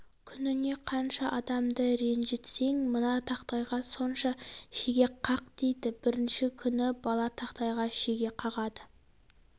күніне қанша адамды ренжітсең мына тақтайға сонша шеге қақ дейді бірінші күні бала тақтайға шеге қағады